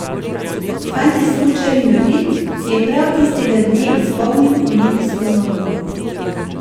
Fant je smučar invalid, ki je prav tistega dne izpolnil olimpijsko normo.